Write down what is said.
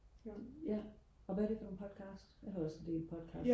ja og hvad er det for nogle podcast jeg hører også en del podcast